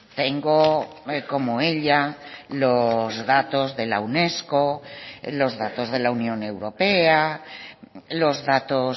tengo como ella los datos de la unesco los datos de la unión europea los datos